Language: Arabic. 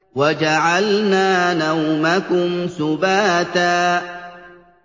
وَجَعَلْنَا نَوْمَكُمْ سُبَاتًا